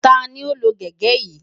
Ta ni ó lo gege yìí?